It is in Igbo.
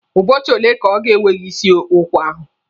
Ụbọchị ole ka ọ ga-ewe gị isi ụkwa ahụ?